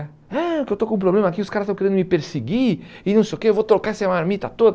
ah que eu estou com um problema aqui, os caras estão querendo me perseguir e não sei o que, eu vou trocar essa marmita toda.